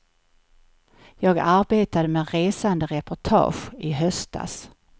Jag arbetade med resande reportage i höstas.